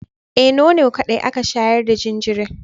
Eh, nono kaɗai aka shayar da jinjirin.